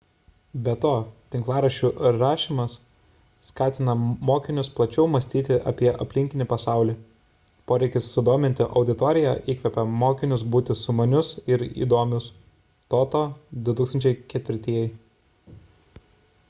be to tinklaraščių rašymas skatina mokinius plačiau mąstyti apie aplinkinį pasaulį . poreikis sudominti auditoriją įkvepia mokinius būti sumanius ir įdomius toto 2004